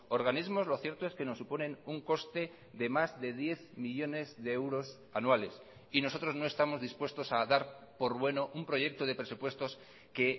organismos lo cierto es que nos suponen un coste de más de diez millónes de euros anuales y nosotros no estamos dispuestos a dar por bueno un proyecto de presupuestos que